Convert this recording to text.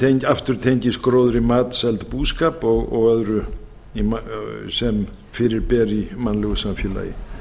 sem aftur tengist gróðri matseld búskap og öðru sem fyrir ber í mannlegu samfélagi ég